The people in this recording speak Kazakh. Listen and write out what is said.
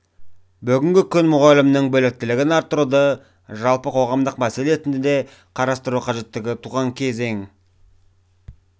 бүгінгі күн мұғалімнің біліктілігін арттыруды жалпы қоғамдық мәселе ретінде қарастыру қажеттігі туған кезең